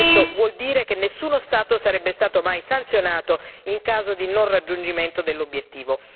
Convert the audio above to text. Questo vuol dire che nessuno Stato sarebbe stato mai sanzionato in caso di non raggiungimento dell'obiettivo.